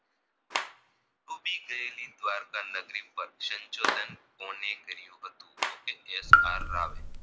ડૂબી ગયેલી દ્વારકા નગરી પર સંશોધન કોને કર્યું હતું તો કે એલ આર રાવે